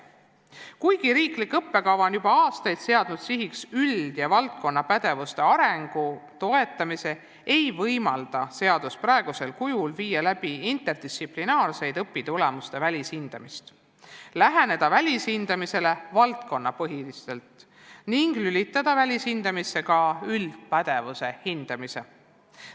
Kuigi riiklik õppekava on juba aastaid seadnud sihiks üld- ja valdkonnapädevuste arengu toetamise, ei võimalda seadus praegusel kujul viia läbi interdistsiplinaarset õpitulemuste välishindamist, läheneda välishindamisele valdkonnapõhiselt ning lülitada välishindamisse ka üldpädevuse hindamist.